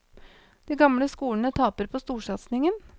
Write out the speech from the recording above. De gamle skolene taper på storsatsingen.